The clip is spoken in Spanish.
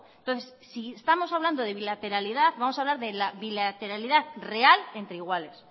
entonces si estamos hablando de bilateralidad vamos a hablar de la bilateralidad real entre iguales